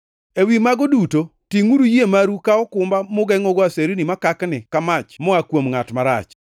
Ewi mago duto tingʼuru yie maru ka okumba mugengʼogo aserni makakni ka mach moa kuom ngʼat marach.